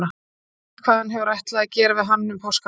Ég veit ekkert hvað hann hefur ætlað að gera við hann um páskana.